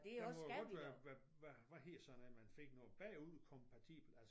Man må jo godt være hvad hedder sådan noget man fik bagudkompatibel altså